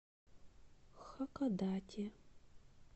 хакодате